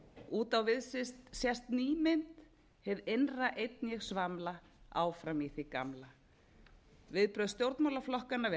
út á við sést ný mynd hið innra einn ég svamla áfram í því gamla viðbrögð stjórnmálaflokkanna við